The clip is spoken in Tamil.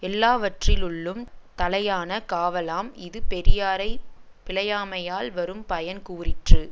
எல்லாவற்றில்லுள்ளும் தலையான காவலாம் இது பெரியாரை பிழையாமையால் வரும் பயன் கூறிற்று